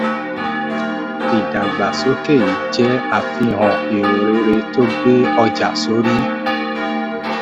ìdàgbàsókè yìí jẹ́ àfihàn erò rere tó gbé ọjà sórí.